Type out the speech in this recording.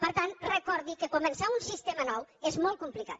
per tant recordi que començar un sistema nou és molt complicat